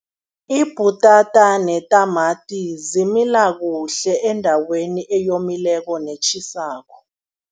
Ibhutata netamati zimila kuhle endaweni eyomileko netjhisako.